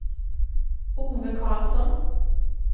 Ove Carlsson